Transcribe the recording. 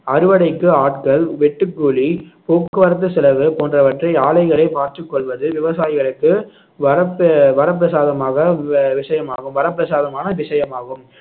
அறுவடைக்கு ஆட்கள் வெட்டு கூலி போக்குவரத்து செலவு போன்றவற்றை ஆலைகளே பார்த்துக் கொள்வது விவசாயிகளுக்கு வரப்பு வரப்பிரசாதமாக வி~ விஷயமாகும் வரப்பிரசாதமான விஷயமாகும்